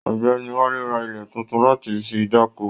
Ọ̀gbẹ́ni Wálé rà ilẹ títún láti fí dá'ko.